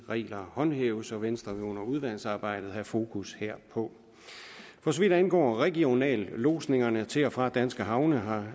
regler håndhæves og venstre vil under udvalgsarbejdet have fokus herpå for så vidt angår regionallodsningerne til og fra danske havne har